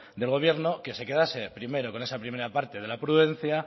del gobierno que se quedase primero con esa primera parte de la prudencia